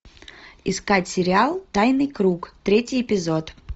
искать сериал тайный круг третий эпизод